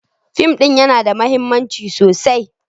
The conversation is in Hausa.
Fim ɗin yana da mahimmanci sosai.